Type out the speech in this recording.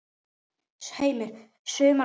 Heimir: Sumum hverjum?